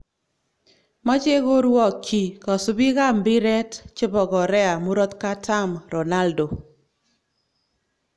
Machei koruokyi kosubikab mbiret chebo Korea murot katam Ronaldo